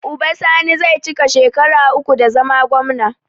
Uba sani zai cika shekara uku da zama gwamna